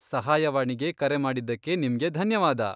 ಸಹಾಯವಾಣಿಗೆ ಕರೆ ಮಾಡಿದ್ದಕ್ಕೆ ನಿಮ್ಗೆ ಧನ್ಯವಾದ.